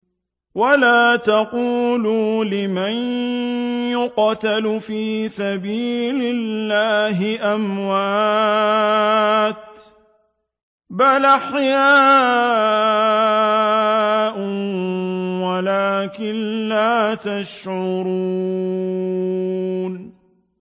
وَلَا تَقُولُوا لِمَن يُقْتَلُ فِي سَبِيلِ اللَّهِ أَمْوَاتٌ ۚ بَلْ أَحْيَاءٌ وَلَٰكِن لَّا تَشْعُرُونَ